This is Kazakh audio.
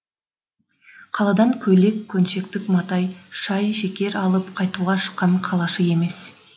қаладан көйлек көншектік мата шай шекер алып қайтуға шыққан қалашы емес